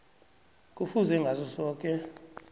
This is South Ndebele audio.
kufuze ngaso soke